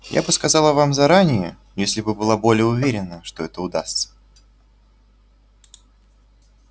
я бы сказала вам заранее если бы была более уверена что это удастся